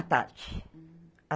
À tarde.